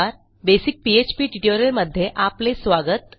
basic PHP ट्युटोरियलमध्ये आपले स्वागत